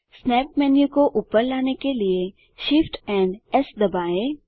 snap menu को ऊपर लाने के लिए Shift एएमपी एस दबाएँ